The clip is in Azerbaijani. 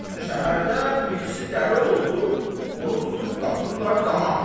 Şəhərdə birisi dəli oldu, onu tutub qatırlar dama.